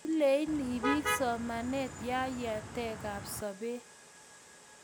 lenei biik somanee ya yatekab sobee.